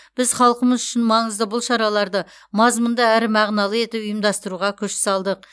біз халқымыз үшін маңызды бұл шараларды мазмұнды әрі мағыналы етіп ұйымдастыруға күш салдық